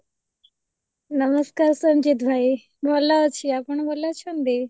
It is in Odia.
ନମସ୍କାର ସଂଜିତ ଭାଇ ଭଲ ଅଛି, ଆପଣ ଭଲ ଅଛନ୍ତି ?